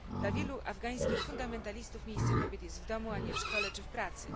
Dla wielu afgańskich fundamentalistów miejsce kobiet jest w domu, a nie w szkole czy w pracy.